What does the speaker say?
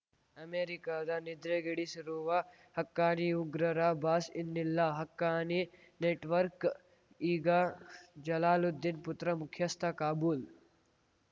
ಅಮೆರಿಕದ ನಿದ್ರೆಗೆಡಿಸಿರುವ ಹಕ್ಕಾನಿ ಉಗ್ರರ ಬಾಸ್‌ ಇನ್ನಿಲ್ಲ ಹಕ್ಕಾನಿ ನೆಟ್‌ವರ್ಕ್ ಈಗ ಜಲಾಲುದ್ದೀನ್‌ ಪುತ್ರ ಮುಖ್ಯಸ್ಥ ಕಾಬೂಲ್‌